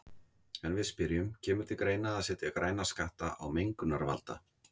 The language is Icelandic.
En við spyrjum, kemur til greina að setja græna skatta á mengunarvalda?